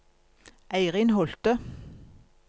Eirin Holthe